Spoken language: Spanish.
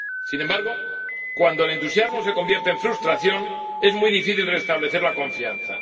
Sin embargo, cuando el entusiasmo se convierte en frustración, es muy difícil restablecer la confianza.